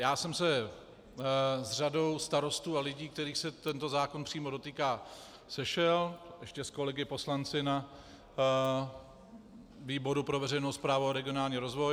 Já jsem se s řadou starostů a lidí, kterých se tento zákon přímo dotýká, sešel, ještě s kolegy poslanci na výboru pro veřejnou správu a regionální rozvoj.